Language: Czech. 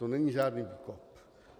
To není žádný výkop.